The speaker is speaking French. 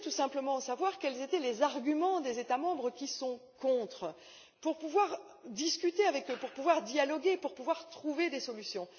Je voulais tout simplement savoir quels étaient les arguments des États membres qui sont contre, pour pouvoir discuter avec eux, pour pouvoir dialoguer avec eux, pour pouvoir trouver des solutions.